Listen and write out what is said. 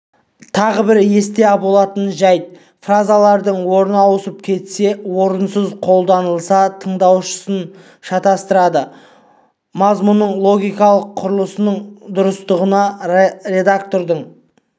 тағы бір есте болатын жәйт фразалардың орны ауысып кетсе орынсыз қолданылса тыңдаушысын шатастырады мазмұнның логикалық құрылысының дұрыстығына редактордың